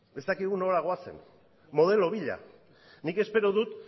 ez dakigu nora goazen modelo bila nik espero dut